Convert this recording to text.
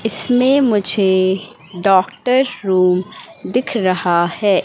इसमें मुझे doctor room दिख रहा है।